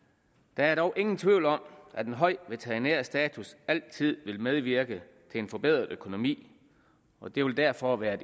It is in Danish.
der er dog ingen tvivl om at en høj veterinær status altid vil medvirke til en forbedret økonomi og det vil derfor være